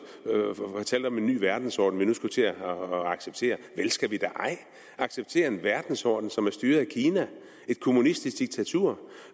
fortalte om en ny verdensorden vi nu skulle til at acceptere vel skal vi da ej acceptere en verdensorden som er styret af kina et kommunistisk diktatur